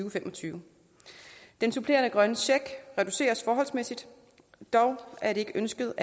og fem og tyve den supplerende grønne check reduceres forholdsmæssigt dog er det ikke ønsket